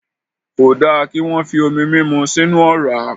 Kò da kí wọ́n fi omi múmu sínu ọ̀rá.